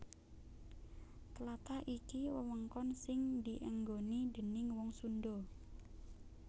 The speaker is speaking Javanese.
Tlatah iki wewengkon sing dienggoni déning wong Sundha